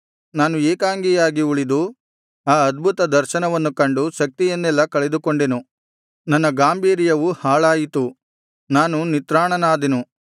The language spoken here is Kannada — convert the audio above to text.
ನಾನು ಏಕಾಂಗಿಯಾಗಿ ಉಳಿದು ಆ ಅದ್ಭುತ ದರ್ಶನವನ್ನು ಕಂಡು ಶಕ್ತಿಯನ್ನೆಲ್ಲಾ ಕಳೆದುಕೊಂಡೆನು ನನ್ನ ಗಾಂಭೀರ್ಯವು ಹಾಳಾಯಿತು ನಾನು ನಿತ್ರಾಣನಾದೆನು